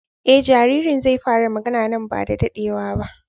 E jaririn zai fara magana nan ba da daɗewa ba.